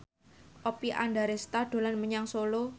Oppie Andaresta dolan menyang Solo